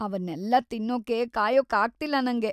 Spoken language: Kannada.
ಅವನ್ನೆಲ್ಲ ತಿನ್ನೋಕೆ ಕಾಯೋಕಾಗ್ತಿಲ್ಲ ನಂಗೆ.